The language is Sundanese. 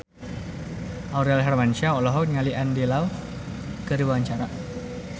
Aurel Hermansyah olohok ningali Andy Lau keur diwawancara